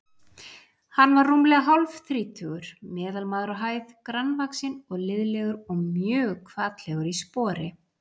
Hann var rúmlega hálfþrítugur, meðalmaður á hæð, grannvaxinn og liðlegur og mjög hvatlegur í spori.